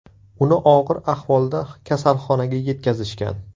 Uni og‘ir ahvolda kasalxonaga yetkazishgan.